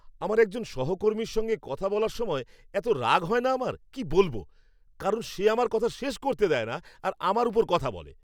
আমার একজন সহকর্মীর সঙ্গে কথা বলার সময় এতো রাগ হয় না আমার কী বলব, কারণ সে আমার কথা শেষ করতে দেয় না আর আমার উপর কথা বলে।